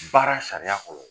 Baara sariya kɔnɔ